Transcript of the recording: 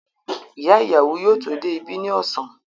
Ìyá ìyàwó yóò tó dé ibí ní ọ̀sán.